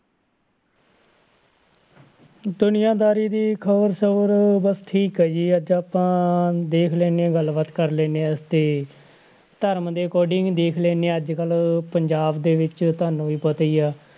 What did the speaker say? ਦੁਨੀਆਂ ਦਾਰੀ ਦੀ ਖ਼ਬਰ ਸਬਰ ਬਸ ਠੀਕ ਆ ਜੀ ਅੱਜ ਆਪਾਂ ਦੇਖ ਲੈਂਦੇ ਹਾਂ ਗੱਲ ਬਾਤ ਕਰ ਲੈਂਦੇ ਹਾਂ ਤੇ ਧਰਮ ਦੇ according ਦੇਖ ਲੈਂਦੇ ਹਾਂ ਅੱਜ ਕੱਲ੍ਹ ਪੰਜਾਬ ਦੇ ਵਿੱਚ ਤੁਹਾਨੂੰ ਵੀ ਪਤਾ ਹੀ ਹੈ